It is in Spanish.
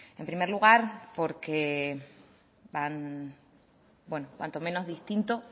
en primer lugar porque cuanto menos distinto